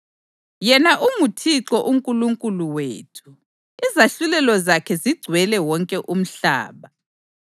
Yena unguThixo uNkulunkulu wethu; izahlulelo zakhe zigcwele wonke umhlaba.